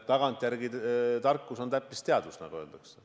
Tagantjärele tarkus on täppisteadus, nagu öeldakse.